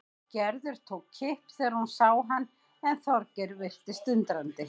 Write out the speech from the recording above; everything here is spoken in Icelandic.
Gerður tók kipp þegar hún sá hann en Þorgeir virtist undrandi.